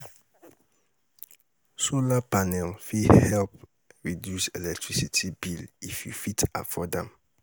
Solar panel fit help reduce electricity bill if you fit afford am.